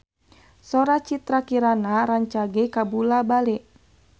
Sora Citra Kirana rancage kabula-bale